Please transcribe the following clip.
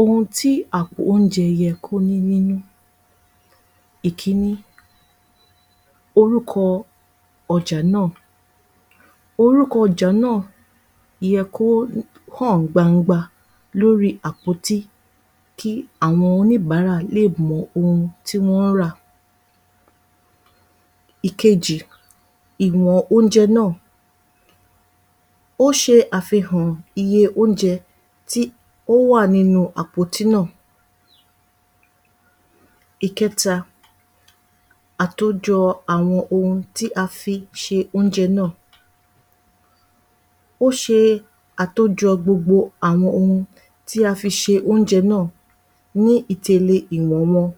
Ohun tí àpò oúnjẹ yẹ kó ní nínú. Ìkíní. Orúkọ ọjà náà. Orúkọ ọjà náà yẹ kó hàn gbangba lórí àpótí, kí àwọn oníbàárà lè mọ ohun tí wọ́n ń rà. Ìkejì. Ìwọ̀n oúnjẹ náà. Ó ṣe àfihàn iye oúnjẹ tí ó wà nínú àpótí náà. Ìkẹta. Àtòjọ̀ àwọn ohun tí a fi ṣe oúnjẹ náà. Ó ṣe Àtòjọ̀ gbogbo àwọn ohun tí a fi ṣe oúnjẹ náà ni ìtele ìwọ̀n wọn.